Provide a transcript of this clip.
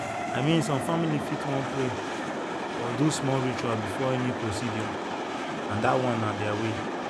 i mean some families fit wan pray or do small ritual before any procedure and that one na their way.